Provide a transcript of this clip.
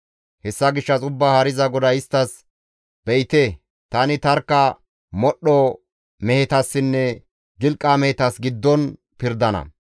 «Hessa gishshas Ubbaa Haariza GODAY isttas, ‹Be7ite, tani tarkka modhdho mehetassinne gilqa mehetas giddon pirdana.